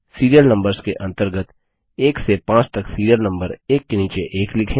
serial numbers के अंतर्गत 1 से 5 तक सिरिअल नम्बर एक के नीचे एक लिखें